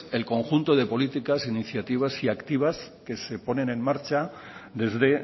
el conjunto de políticas iniciativas y activas que se ponen en marcha desde